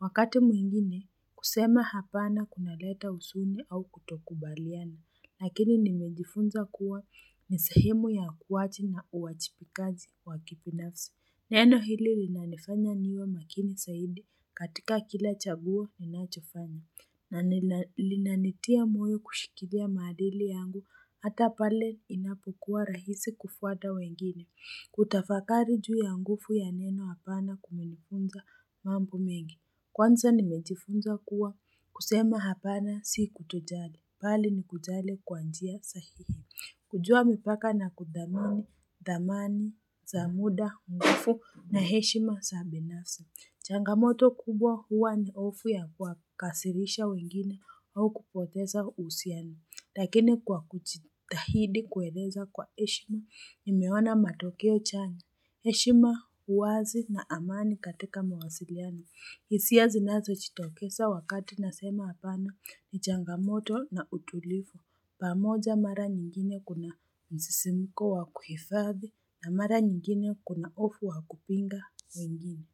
Wakati mwingine, kusema hapana kuna leta usuni au kutokubaliani, Lakini nimejifunza kuwa nisehemu ya kuwachi na uachipikazi wakipinafsi. Neno hili linanifanya niwe makini saidi katika kila chaguo inachofani. Na linanitia moyo kushikidia madili yangu hata pale inapokuwa rahisi kufuata wengine. Kutafakari juu ya nguvu ya neno hapana kuminifunza mambo mengi. Kwanza nimejifunza kuwa kusema hapana si kutojale, pali ni kujale kwa njia sahihini. Kujua mipaka na kudamani za muda, mgufu na heshima sabi nasa. Changamoto kubwa huwa ni hofu ya kwa kasirisha wengine au kupoteza usiani. Lakini kwa kuchitahidi kweleza kwa heshima, nimeona matokeo chani. Heshima huwazi na amani katika mawasiliani. Isia zinazo chitokesa wakati nasema apana ni changamoto na utulivu. Pamoja mara nyingine kuna msisimiko wakuhifadhi na mara nyingine kuna hofu wakupinga wengine.